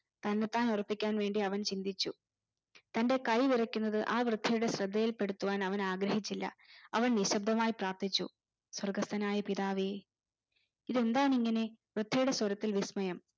തന്നെത്താൻ ഉറപ്പിക്കാൻവേണ്ടി അവൻ ചിന്തിച്ചു തന്റെ കൈ വിറകുന്നത് ആ വൃദ്ധയുടെ ശ്രദ്ധയിൽ പെടുത്തുവാൻ അവൻ ആഗ്രഹിച്ചില്ല അവൻ നിശബ്ദമായി പ്രാർത്ഥിച്ചു സ്രോതസ്സനായ പിതാവേ ഇതെന്താണിങ്ങനെ വൃദ്ധയുടെ സ്വരത്തിൽ വിസ്‌മയം